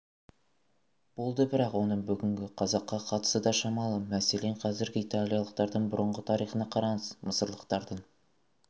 болды бірақ оның бүгінгі қазаққа қатысы да шамалы мәселен қазіргі италиялықтардың бұрынғы тарихына қараңыз мысырлықтардың